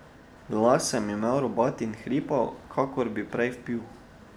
Glas sem imel robat in hripav, kakor da bi prej vpil.